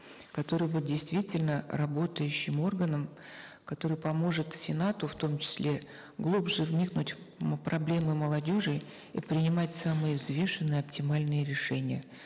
которые будут действительно работающим органом который поможет сенату в том числе глубже вникнуть в проблемы молодежи и принимать самые взвешенные оптимальные решения